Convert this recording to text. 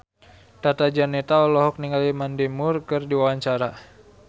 Tata Janeta olohok ningali Mandy Moore keur diwawancara